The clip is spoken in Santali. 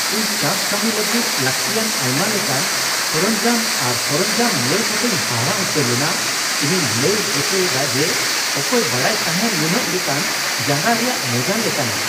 ᱤᱧ ᱪᱟᱥ ᱠᱟᱹᱢᱤ ᱞᱟᱹᱜᱤᱫ ᱞᱟᱹᱠᱛᱤᱭᱟᱱ ᱟᱭᱢᱟ ᱞᱮᱠᱟᱱ ᱥᱚᱨᱚᱧᱡᱟᱢ ᱟᱨ ᱥᱚᱨᱚᱧᱡᱟᱢ ᱧᱮᱞ ᱠᱟᱛᱮᱧ ᱦᱟᱦᱟᱲᱟᱜ ᱩᱛᱟᱹᱨ ᱞᱮᱱᱟ ᱾ ᱤᱧᱤᱧ ᱞᱟᱹᱭ ᱦᱚᱪᱚᱭᱮᱫᱟ ᱡᱮ ᱚᱠᱚᱭ ᱵᱟᱰᱟᱭ ᱛᱟᱦᱮᱸ ᱱᱩᱱᱟᱹᱜ ᱞᱮᱠᱟᱱ ᱡᱟᱸᱜᱟ ᱨᱮᱭᱟᱜ ᱢᱚᱡᱟ ᱞᱮᱠᱟᱱᱟᱜ ?